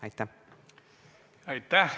Aitäh!